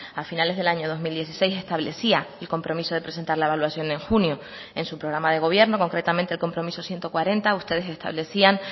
a finales del año dos mil dieciséis establecía el compromiso de presentar la evaluación en junio en su programa de gobierno concretamente el compromiso ciento cuarenta ustedes establecían